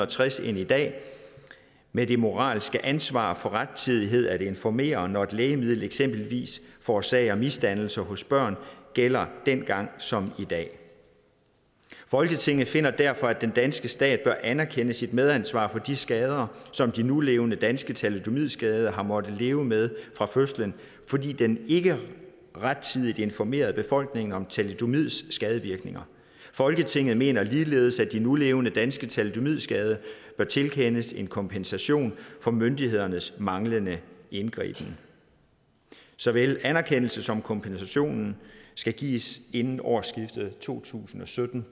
tres end i dag men det moralske ansvar for rettidigt at informere når et lægemiddel eksempelvis forårsager misdannelser hos børn gælder dengang som i dag folketinget finder derfor at den danske stat bør anerkende sit medansvar for de skader som de nulevende danske thalidomidskadede har måttet leve med fra fødslen fordi den ikke rettidigt informerede befolkningen om thalidomids skadevirkninger folketinget mener ligeledes at de nulevende danske thalidomidskadede bør tilkendes en kompensation for myndighedernes manglende indgriben såvel anerkendelse som kompensation skal gives inden årsskiftet to tusind og sytten